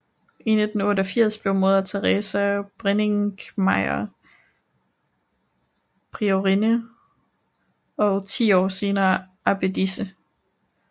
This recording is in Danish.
I 1988 blev Moder Theresa Brenninkmeijer priorinde og ti år senere abbedisse